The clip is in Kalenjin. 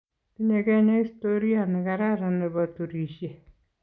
Tinye kenya istoria ne kararan ne bo turishe.